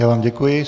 Já vám děkuji.